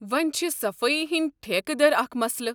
وۄنۍ چھِ صفٲیی ہٕنٛدۍ ٹھیکہٕ در اکھ مسلہٕ۔